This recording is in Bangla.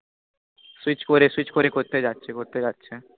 switch করে switch করে করতে যাছে করতে যাছে